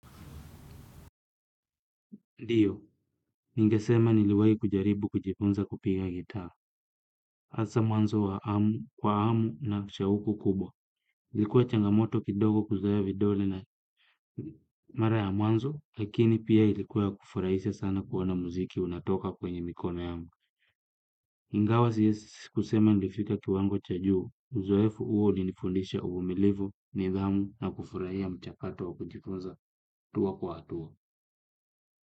Ndiyo, ningesema niliwai kujaribu kujifunza kupiga gitaa. Asa mwanzo wa amu, kwa amu na shauku kubwa. Ilikuwa changamoto kidogo kuzoea vidole na mara ya mwanzo, lakini pia ilikuwa ya kufuraisha sana kuona muziki unatoka kwenye mikono yangu. Ingawa siezi si kusema nilifika kiwango cha juu. Uzoefu huo ulinifundisha uvumilivu, nidhamu na kufurahia mchakato wa kujifunza tua kwa hatua.